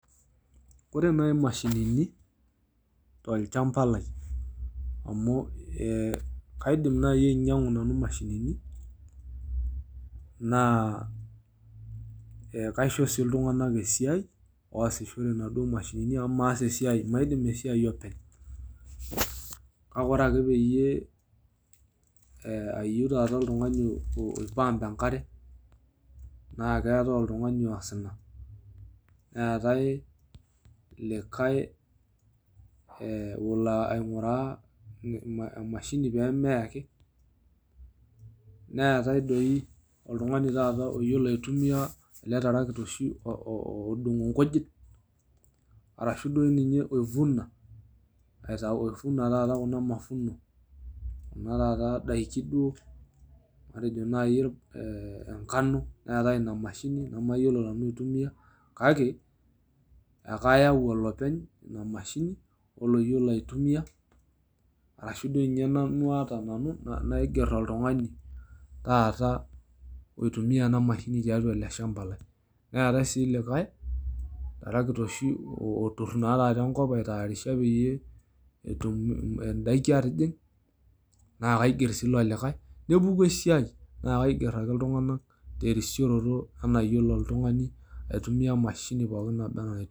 Kore nai imashinini to lchamba lai amu kaidim naii ainyang'u nanu imashinini naa kaisho sii oltunganak esiaai oasishore naado imashinini amu emaidim esiaai openy, kake ore ake peyie ayeu taata ltungani oipaamp inkare naa keatai oltungani oas ina, neatai likai olo aing'uraa imashini peemeei ake, neatai doi oltungani taata oyolo aitumia ale tarakita oshi odung' nkujit arashu duo ninye oivuna kunaa taata mavuno kuna taata daki duo atejo nai engano neatai imashini namayiolo nanu aitumiyia kake ekayau olopeny ina imashini oloiyolo aitumiya arashu doi ninye nanu naiger oltungani taata oitumiyia ana imashini tiatua ilo shamba lai neetai sii likai tarakita oshi otur naake enkop aitayarisha pee endaki aatijing naa kaiger sii ilo likai nepuku esiaai naa kaiger ake ltunganak terisiroto enaiyolo ake ltungani aitumiya imashini pooki neba anaa ntiu.